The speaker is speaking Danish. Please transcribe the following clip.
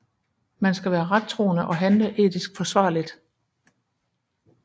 Man skal være rettroende og handle etisk forsvarligt